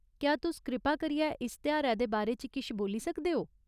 क्या तुस कृपा करियै इस तेहारै दे बारे च किश बोल्ली सकदे ओ?